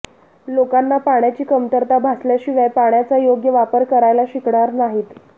लोकांना पाण्याची कमतरता भासल्याशिवाय पाण्याचा योग्य वापर करायला शिकणार नाहीत